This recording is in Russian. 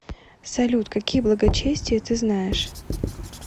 салют какие благочестие ты знаешь